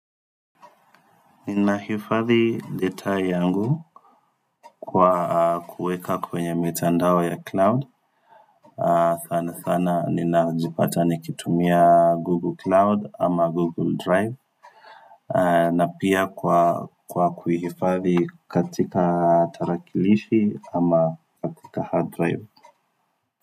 Ninahifadhi data yangu kwa kuweka kwenye mitandao ya cloud Thana thana ninajipata nikitumia google cloud ama google drive na pia kwa kuhifathi katika tarakilishi ama katika hard drive.